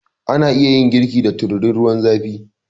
Ana iya yin girki da tururin ruwan zafi